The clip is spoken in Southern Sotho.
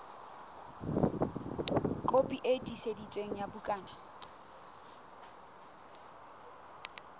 kopi e tiiseditsweng ya bukana